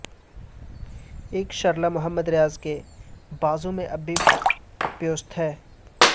ایک شرلہ محمد ریاض کے بازو میں اب بھی پیوست ہے